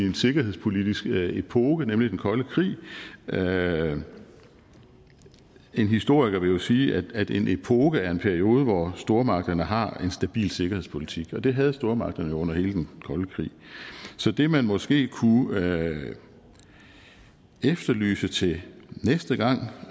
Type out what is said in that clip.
en sikkerhedspolitisk epoke nemlig den kolde krig en historiker vil jo sige at en epoke er en periode hvor stormagterne har en stabil sikkerhedspolitik og det havde stormagterne jo under hele den kolde krig så det man måske kunne efterlyse til næste gang